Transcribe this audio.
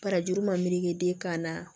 Barajuru ma melege den kan na